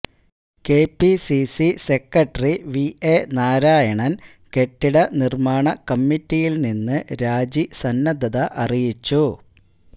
KPCC secretary V A നാരായണന് കെട്ടിട നിര്മാണ കമ്മിറ്റിയില് നിന്ന് രാജി സന്നദ്ധത അറിയിച്ചു